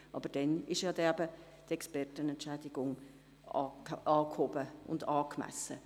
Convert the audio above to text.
Bis dahin ist aber auch die Expertenentschädigung angehoben und angemessen.